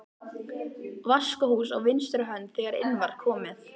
Vaskahús á vinstri hönd þegar inn var komið.